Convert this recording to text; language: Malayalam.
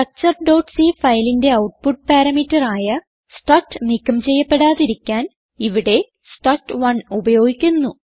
structureസി ഫയലിന്റെ ഔട്ട്പുട്ട് പാരാമീറ്റർ ആയ സ്ട്രക്ട് നീക്കം ചെയ്യപ്പെടാതിരിക്കാൻ ഇവിടെ സ്ട്രക്ട്1 ഉപയോഗിക്കുന്നു